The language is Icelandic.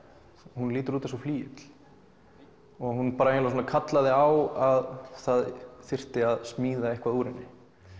hún lítur út eins og flygill hún eiginlega kallaði á að það þyrfti að smíða eitthvað úr henni